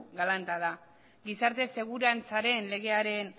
galanta da gizarte segurantzaren legearen